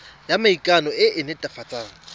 ya maikano e e netefatsang